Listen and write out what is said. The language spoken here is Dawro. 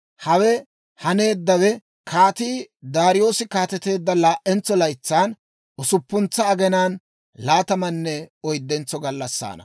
Hawe haneeddawe Kaatii Daariyoose kaateteedda laa"entso laytsan, usuppuntsa aginaan laatamanne oyddentso gallassaana.